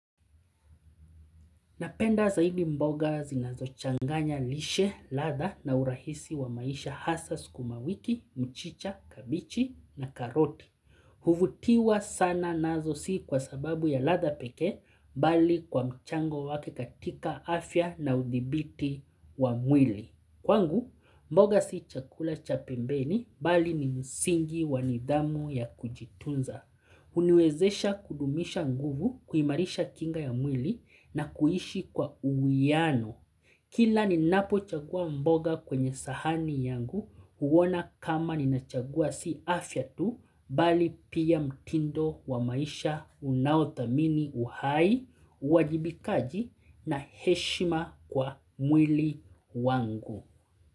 Napenda zaidi mboga zinazochanganya lishe, latha na urahisi wa maisha hasaa sukumawiki, mchicha, kabichi na karoti. Huvutiwa sana nazo si kwa sababu ya latha peke, bali kwa mchango wake katika afya na udhibiti wa mwili. Kwangu, mboga si chakula cha pembeni, bali ni msingi wanidhamu ya kujitunza. Huniwezesha kudumisha nguvu, kuimarisha kinga ya mwili na kuishi kwa uwiano. Kila ninapo chagua mboga kwenye sahani yangu huona kama ni nachagua si afya tu bali pia mtindo wa maisha unaodhamini uhai, uwajibikaji na heshima kwa mwili wangu.